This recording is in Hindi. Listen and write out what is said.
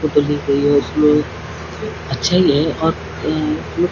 एक फोटो ली गई है और उसमें अच्छा ही है और --